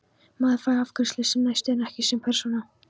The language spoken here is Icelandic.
Maður fær afgreiðslu sem næsti en ekki sem persóna.